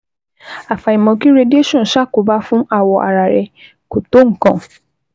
Àfàìmọ̀ kí radiation ṣàkóbá fún awọ ara rẹ kò tó nǹkan